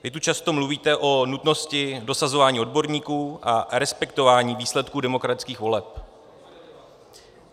Vy tu často mluvíte o nutnosti dosazování odborníků a respektování výsledků demokratických voleb.